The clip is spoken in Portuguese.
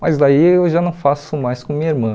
Mas daí eu já não faço mais com minha irmã.